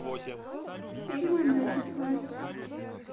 фильмы мюзиклы